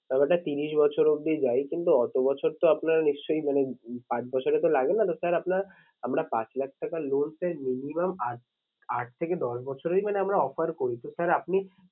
টাকাটা ত্রিশ বছর অবধি যাই কিন্তু অত বছর তো আপনার নিশ্চই মানে পাঁচ বছরে তো লাগে না। তো sir আপনার আমরা পাঁচ লাখ টাকা loan sir minimum আট, আট থেকে দশ বছরেই মানে আমরা offer করি তো sir আপনি